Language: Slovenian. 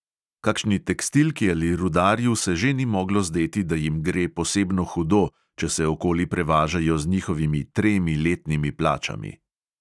Kakšni tekstilki ali rudarju se že ni moglo zdeti, da jim gre posebno hudo, če se okoli prevažajo z njihovimi tremi letnimi plačami.